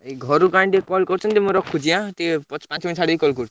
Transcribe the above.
ଘରୁ କାଇଁ ଟିକେ call କରୁଛନ୍ତି ମୁଁ ରଖୁଛି ଆଁ? ଟିକେ ପାଞ୍ଚ minute ଛାଡିକି call କରୁଛି?